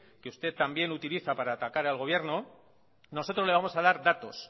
que usted también utiliza para atacar al gobierno nosotros le vamos a dar datos